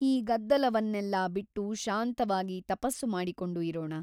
ಈ ಗದ್ದಲವನ್ನೆಲ್ಲಾ ಬಿಟ್ಟು ಶಾಂತವಾಗಿ ತಪಸ್ಸು ಮಾಡಿಕೊಂಡು ಇರೋಣ.